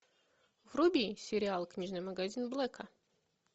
вруби сериал книжный магазин блэка